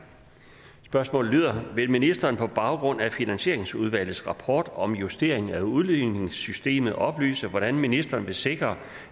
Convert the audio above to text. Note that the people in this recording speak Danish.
spørgsmålet lyder vil ministeren på baggrund af finansieringsudvalgets rapport om justering af udligningssystemet oplyse hvordan ministeren vil sikre